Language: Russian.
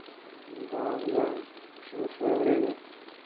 да бля всему своё время